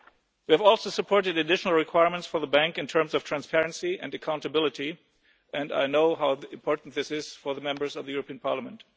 We've also supported additional requirements for the bank in terms of transparency and accountability, and I know how important this is to the Members of the European Parliament.